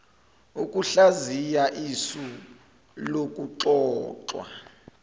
ukuhlaziya isu lokuxoxwa